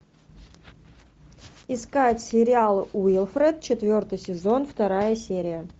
искать сериал уилфред четвертый сезон вторая серия